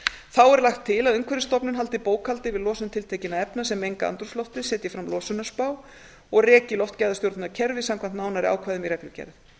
þá er lagt til að umhverfisstofnun haldi bókhald yfir losun tiltekinna efna sem menga andrúmsloftið setji fram losunarspá og reki loftgæðastjórnunarkerfi samkvæmt nánari ákvæðum í reglugerð